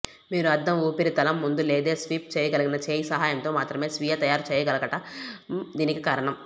మీరు అద్దం ఉపరితలం ముందు లేదా స్వీప్ చేయగలిగిన చేయి సహాయంతో మాత్రమే స్వీయ తయారు చేయగలగటం దీనికి కారణం